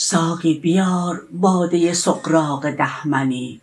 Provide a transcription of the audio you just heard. ساقی بیار باده سغراق ده منی